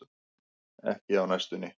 Ekki á næstunni.